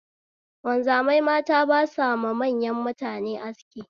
Wanzamai mata ba sama manyan mutane aski